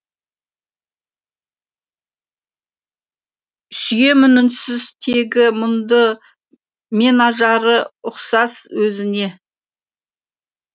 сүйемін үнсіз тегі мұңды мен жары ұқсас өзіңе